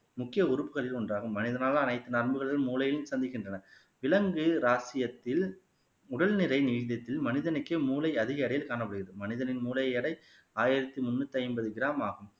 முக்கிய உறுப்புகளில் ஒன்றாகும் மனிதனால் அனைத்து நரம்புகளையும் மூளையில் சந்திக்கின்றன விலங்கு ராஜ்ஜியத்தில் உடல்நிலை நீடித்து மனிதனுக்கே மூளை அதிக எடையில் காணப்படுகிறது மனிதனின் மூளை எடை ஆயிரத்தி முன்னூத்தி ஐம்பது கிராம் ஆகும்